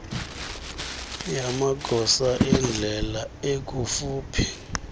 yamagosa endlela ekufuphi